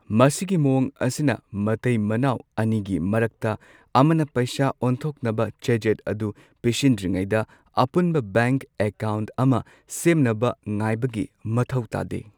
ꯃꯁꯤꯒꯤ ꯃꯑꯣꯡ ꯑꯁꯤꯅ ꯃꯇꯩ ꯃꯅꯥꯎ ꯑꯅꯤꯒꯤ ꯃꯔꯛꯇ ꯑꯃꯅ ꯄꯩꯁꯥ ꯑꯣꯟꯊꯣꯛꯅꯕ ꯆꯦꯖꯦꯠ ꯑꯗꯨ ꯄꯤꯁꯤꯟꯗ꯭ꯔꯤꯉꯩꯗ ꯑꯄꯨꯟꯕ ꯕꯦꯡꯛ ꯑꯦꯀꯥꯎꯟꯠ ꯑꯃ ꯁꯦꯝꯅꯕ ꯉꯥꯏꯕꯒꯤ ꯃꯊꯧ ꯇꯥꯗꯦ꯫